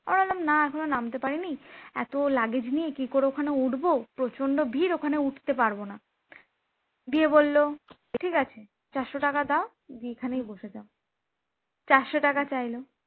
আমরা বললাম না এখনো নামতে পারিনি, এত luggage নিয়ে কি করে ওখানে উঠব প্রচন্ড ভিড় ওখানে উঠতে পারব না দিয়ে বলল ঠিক আছে চারশ টাকা দাও যে দিয়ে এখানে বসে থাকো চারশ টাকা চাইল